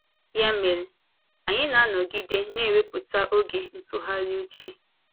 Ya mere, anyị na-anọgide na-ewepụta oge ịtụgharị uche.